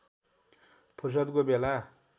फुर्सदको बेला